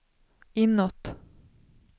inåt